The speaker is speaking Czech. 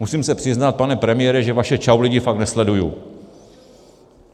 Musím se přiznat, pane premiére, že vaše Čau lidi fakt nesleduji.